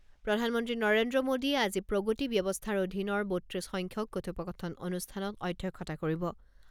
প্ৰধানমন্ত্ৰী নৰেন্দ্ৰ মোদীয়ে আজি প্ৰগতি ব্যৱস্থাৰ অধীনৰ বত্ৰিছ সংখ্যক কথোপকথন অনুষ্ঠানত অধ্যক্ষতা কৰিব।